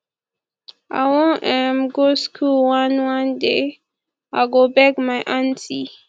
i wan um go school one one day i go beg my aunty